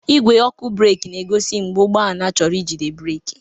Ìgwé ọkụ breeki na-egosi mgbe ụgbọ ala chọrọ ijide breeki.